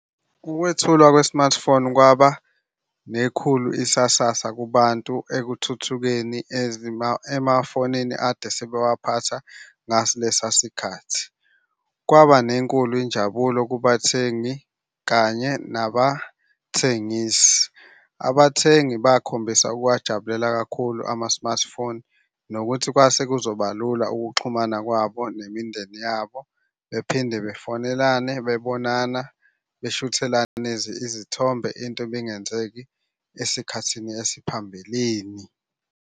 Ukwethulwa kwe-smartphone kwaba nekhulu isasasa kubantu ekuthuthukeni emafonini ade sebewaphatha ngaso lesasikhathi. Kwaba nenkulu injabulo kubathengi kanye nabathengisi. Abathengi bakhombisa ukuwajabulela kakhulu ama-smartphone nokuthi kwase kuzoba lula ukuxhumana kwabo fnemindeni yabo, bephinde bafonelane bebonana, beshuthelana izithombe into ebingenzeki esikhathini esiphambilini.